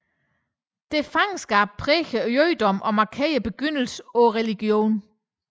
Dette fangeskab præger jødedommen og markerer begyndelsen på religionen